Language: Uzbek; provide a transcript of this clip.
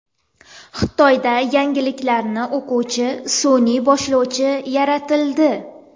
Xitoyda yangiliklarni o‘quvchi sun’iy boshlovchi yaratildi .